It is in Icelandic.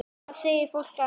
Hvað segir fólk annars?